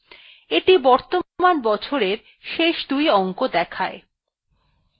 এইটি বর্তমান বছরের শেষ দুই অংক দেখায়